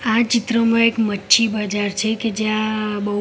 આ ચિત્રમાં એક મચ્છી બજાર છે કે જે જ્યાં બૌ--